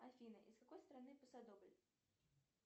афина из какой страны пасодобль